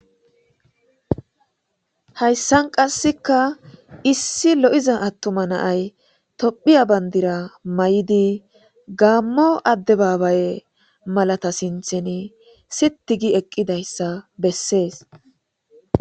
hayssan qasseka issi lo7iza attuma naay tophiya bandira may7idi gaammo adde baabaye malata sintheni sittigi eqqidayssa bessees